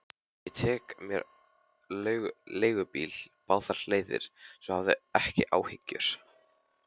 Ég tek mér leigubíl báðar leiðir, svo hafðu ekki áhyggjur.